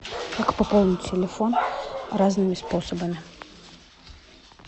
как пополнить телефон разными способами